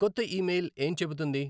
కొత్త ఇమెయిల్ ఏం చెబుతుంది